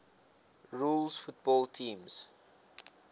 rules football teams